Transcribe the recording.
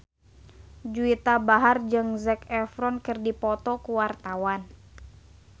Juwita Bahar jeung Zac Efron keur dipoto ku wartawan